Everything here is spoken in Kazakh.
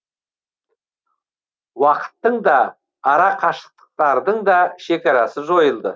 уақыттың да арақашықтықтардың да шекарасы жойылды